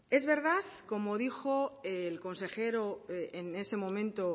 es verdad como dijo el consejero en ese momento